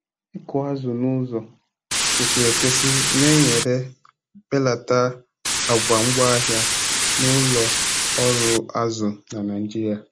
ịkụ azụ n'uzọ kwesịrị ekwesị Na-enyere belata àgwà ngwaahịa n'ụlọ ọrụ azụ na Naijiria